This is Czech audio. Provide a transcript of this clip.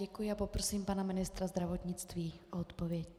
Děkuji a poprosím pana ministra zdravotnictví o odpověď.